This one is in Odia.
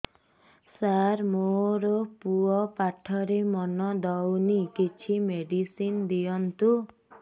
ସାର ମୋର ପୁଅ ପାଠରେ ମନ ଦଉନି କିଛି ମେଡିସିନ ଦିଅନ୍ତୁ